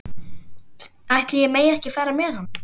Ætli ég megi ekki fara með honum?